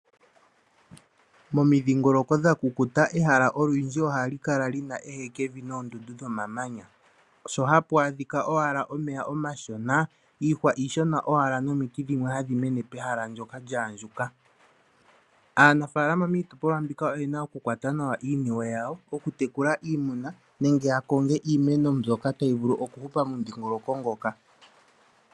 Momidhingoloko dha kukuta ehala olwindji ohali kala li na ehekevi noondundu dhomamanya. Sho hapu adhika owala omeya omashona, iihwa iishona owala nomiti dhimwe hadhi mene pehala ndyoka lya andjuka. Aanafaalama miitopolwa mbika oye na okukwata nawa iiniwe yawo, okutekula iimuna nenge ya konge iimeno mbyoka tayi vulu okuhupa momudhingoloko ngoka.